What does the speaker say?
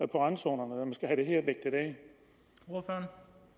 på randzonerne når